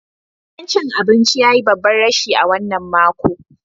Gidan cin abinci ya yi babban rashi a wannan makon.